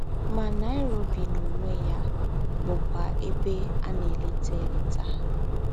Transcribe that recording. Ma, Nairobi n’onwe ya bụkwa ebe a na-eleta eleta.